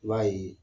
I b'a ye